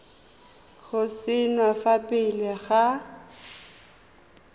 go saenwa fa pele ga